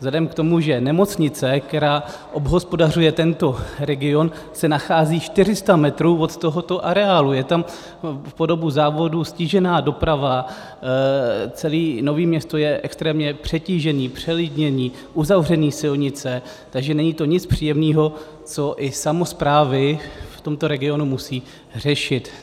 Vzhledem k tomu, že nemocnice, která obhospodařuje tento region, se nachází 400 metrů od tohoto areálu, je tam po dobu závodu ztížená doprava, celé Nové Město je extrémně přetížené, přelidněné, uzavřené silnice, takže není to nic příjemného, co si samosprávy v tomto regionu musí řešit.